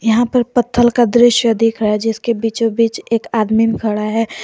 यहां पर पत्थल का दृश्य दिख रहा है जिसके बीचों बीच एक आदमी खड़ा है।